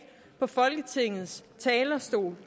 på folketingets talerstol